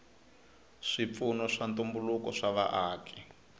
swipfuno swa ntumbuluko swa vaaki